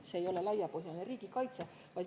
See ei ole laiapõhjaline riigikaitse.